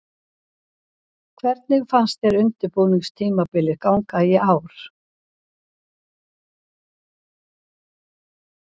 Hvernig fannst þér undirbúningstímabilið ganga í ár?